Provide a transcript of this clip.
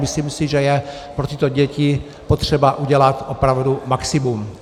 Myslím si, že je pro tyto děti potřeba udělat opravdu maximum.